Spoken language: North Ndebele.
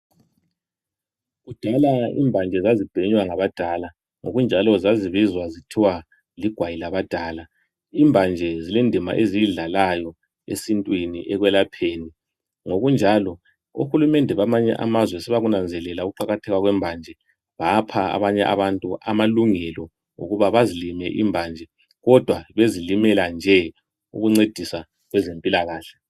Kudala imbanje zazibhenywa ngabadala ngokunjalo zazibizwa zithiwa ligwayi labadala. Imbanje zilendima eziyidlalayo esintwini ekwelapheni ngokunjalo ohulumende bamanye amazwe sebakunanzelela ukuqakatheka kwembanje bapha abanye abantu amalungelo okubana bazilime imbanje kodwa bezilimela nje ukuncedisa kwezempilakahle